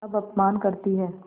अब अपमान करतीं हैं